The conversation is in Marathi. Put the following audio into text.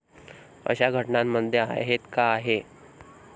अशा घटनांमध्ये आहेत का आहे?